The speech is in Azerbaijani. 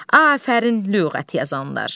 Afərin lüğət yazanlar.